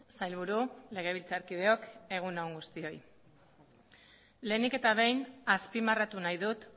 sailburu legebiltzarkideok egun on guztioi lehenik eta behin azpimarratu nahi dut